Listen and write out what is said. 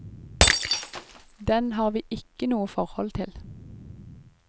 Den har vi ikke noe forhold til.